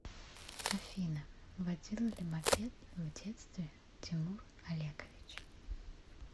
афина водил ли мопед в детстве тимур олегович